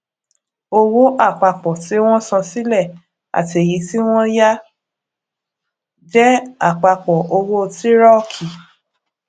owó àpapọ tí wọn san sílẹ àti èyí tí wọn yá jẹ àpapọ owó tírọkì